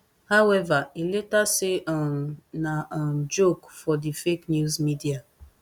however e later say um na um joke for di fake news media